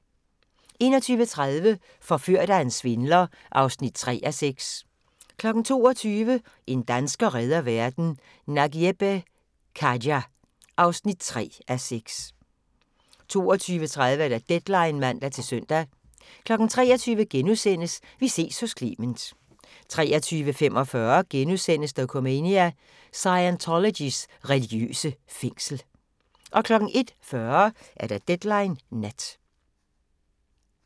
21:30: Forført af en svindler (3:6) 22:00: En dansker redder verden - Nagieb Khaja (3:6) 22:30: Deadline (man-søn) 23:00: Vi ses hos Clement * 23:45: Dokumania: Scientologys religiøse fængsel * 01:40: Deadline Nat